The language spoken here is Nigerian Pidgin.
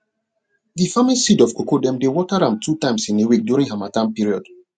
d farming seed of cocoa dem dey water am two times in a week during harmattan period